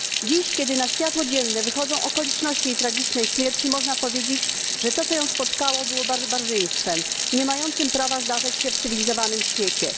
Dziś, kiedy na światło dzienne wychodzą okoliczności jej tragicznej śmierci, można powiedzieć, że to, co ją spotkało, było barbarzyństwem, nie mającym prawa się zdarzyć w cywilizowanym świecie.